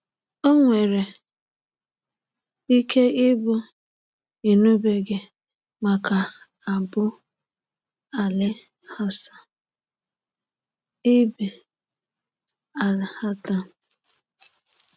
O nwere ike ịbụ na ị nụbeghị maka Abū ‘Alī al-Hasan ibn al-Haytham.